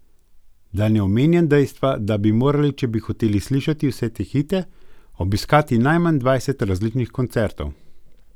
Da ne omenjam dejstva, da bi morali, če bi hoteli slišati vse te hite, obiskati najmanj dvajset različnih koncertov.